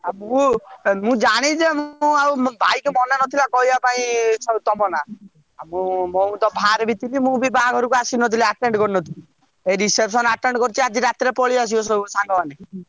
ଆଉ ମୁଁ ଜାଣିଛେ ମୁଁ ଆଉ ଭାଇ କୁ ମନେ ନଥିଲା କହିବାକୁ ତମ ନା ଆଉ ମୁଁ ତ ବାହାରେବି ଥିଲି ମୁଁ ବି ବାହାଘରକୁ ଆସିନଥିଲି attend କରିନଥିଲି ଏଇ reception attend କରିଛି ଆଜି ରାତିରେ ପଳେଇ ଆସିବେ ସବୁ ସାଙ୍ଗମାନେ।